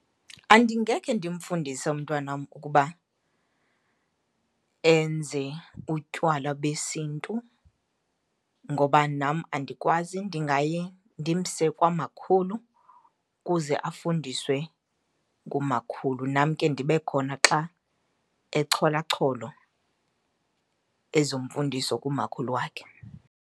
Andingekhe ndimfundise umntwanam ukuba enze utywala besintu ngoba nam andikwazi, ndingaye ndimse kwamakhulu ukuze afundiswe ngumakhulu. Nam ke ndibe khona xa echolachola ezo mfundiso kumakhulu wakhe.